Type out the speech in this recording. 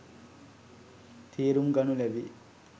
තේරුම් ගනුලැබේ.